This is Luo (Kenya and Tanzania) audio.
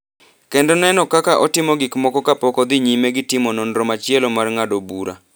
kendo neno kaka otimo gik moko kapok odhi nyime gi timo nonro machielo mar ng’ado bura.